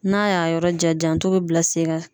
N'a y'a yɔrɔ jɛn, janto be bila sen kan.